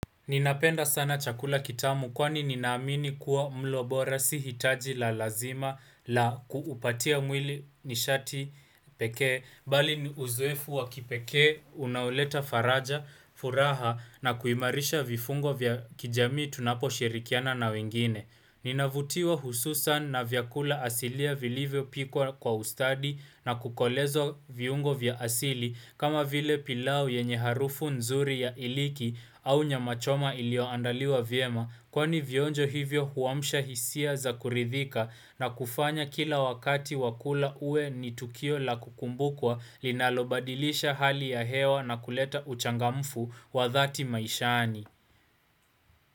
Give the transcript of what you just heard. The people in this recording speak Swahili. Ninapenda sana chakula kitamu kwani ninaamini kuwa mlobora si hitaji la lazima la kuupatia mwili nishati pekee, bali uzowefu wa kipekee, unaoleta faraja, furaha na kuimarisha vifungo vya kijamii tunapo shirikiana na wengine. Ninavutiwa hususan na vyakula asilia vilivyo pikwa ustadi na kukolezo viungo vya asili kama vile pilau yenye harufu nzuri ya iliki au nyama choma ilio andaliwa viema kwani vionjo hivyo huwamsha hisia za kuridhika na kufanya kila wakati wakula uwe ni tukio la kukumbukwa linalobadilisha hali ya hewa na kuleta uchangamfu wa dhati maishani.